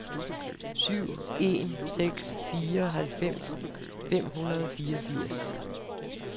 syv en seks fire halvfems fem hundrede og fireogfirs